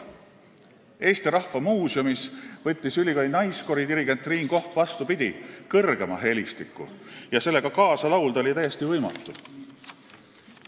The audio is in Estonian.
Eesti Rahva Muuseumis võttis ülikooli naiskoori dirigent Triin Koch, vastupidi, kõrgema helistiku ja kaasa laulda oli täiesti võimatu.